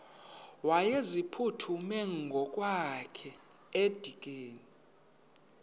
wayeziphuthume ngokwakhe edikeni